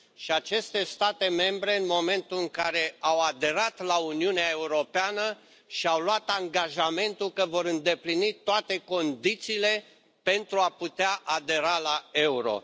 Și aceste state membre, în momentul în care au aderat la Uniunea Europeană, și au luat angajamentul că vor îndeplini toate condițiile pentru a putea adera la euro.